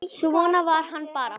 Svona var hann bara.